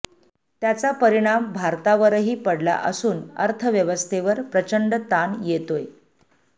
त्याचा परिणाम भारतावरही पडला असून अर्थव्यवस्थेवर प्रचंड ताण येतोय